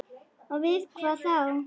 Og við hvað þá?